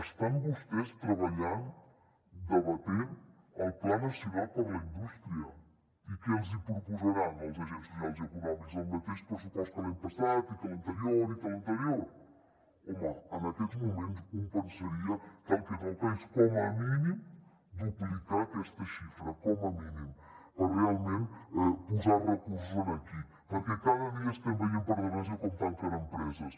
estan vostès treballant debatent el pla nacional per a la indústria i què els hi proposaran als agents socials i econòmics el mateix pressupost que l’any passat i que l’anterior i que l’anterior home en aquests moments un pensaria que el que toca és com a mínim duplicar aquesta xifra com a mínim per realment posar hi recursos aquí perquè cada dia estem veient per desgràcia com tanquen empreses